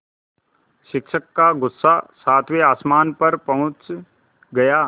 शिक्षक का गुस्सा सातवें आसमान पर पहुँच गया